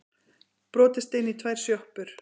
Brotist inn í tvær sjoppur